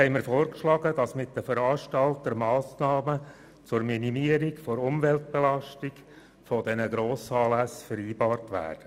Konkret haben wir vorgeschlagen, dass mit den Veranstaltern Massnahmen zur Minimierung der Umweltbelastung dieser Grossanlässe vereinbart werden.